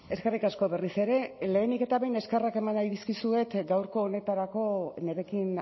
eskerrik asko berriz ere lehenik eta behin eskerrak eman nahi dizkizuet gaurko honetarako nirekin